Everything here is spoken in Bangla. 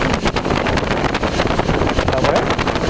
তারপরে